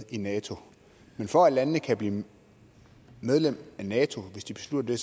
i nato men for at landene kan blive medlem af nato hvis de beslutter